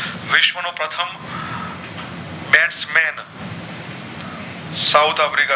south Africa